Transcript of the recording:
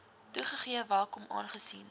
toegegee welkom aangesien